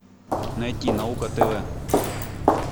найти наука тв